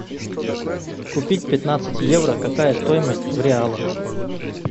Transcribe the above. купить пятнадцать евро какая стоимость в реалах